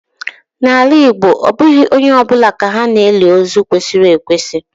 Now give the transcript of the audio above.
N'ala Igbo abụghị onye ọ bụla ka ha na-eli ozu kwesịrị ekwesị.